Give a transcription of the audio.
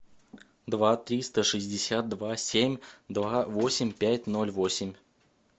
два триста шестьдесят два семь два восемь пять ноль восемь